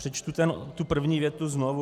Přečtu tu první větu znovu.